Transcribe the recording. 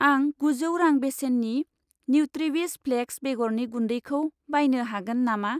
आं गुजौ रां बेसेननि न्युट्रिविस फ्लेक्स बेगरनि गुन्दैखौ बायनो हागोन नामा?